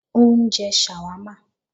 Ó ń jẹ ṣàwámà